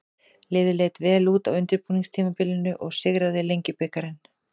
Liðið leit vel út á undirbúningstímabilinu og sigraði Lengjubikarinn.